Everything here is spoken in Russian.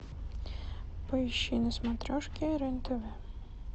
поищи на смотрешке рен тв